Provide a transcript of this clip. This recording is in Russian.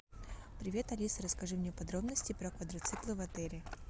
привет алиса расскажи мне подробности про квадроциклы в отеле